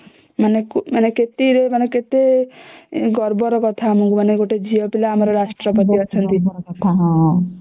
ମାନେ କେତେ ରୁ ମାନେ କେତେ ଗର୍ବ ର କଥା ଆମକୁ କି ଗୋଟେ ଝିଅ ପିଲା ଆମର ରାଷ୍ଟ୍ରପତି ଅଛନ୍ତି